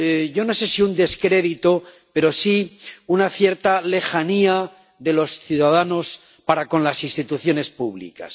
yo no sé si un descrédito, pero sí una cierta lejanía de los ciudadanos para con las instituciones públicas.